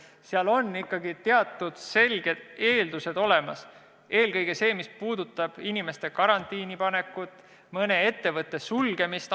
Seal peavad ikkagi teatud selged eeldused olemas olema, eelkõige mis puudutab inimeste karantiinipanekut või mõne ettevõtte ajutist sulgemist.